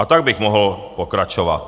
A tak bych mohl pokračovat.